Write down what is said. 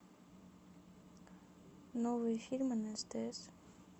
новые фильмы на стс